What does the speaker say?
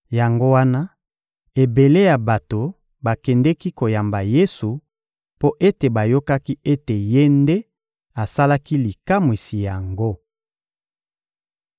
Yango wana ebele ya bato bakendeki koyamba Yesu mpo ete bayokaki ete Ye nde asalaki likamwisi yango.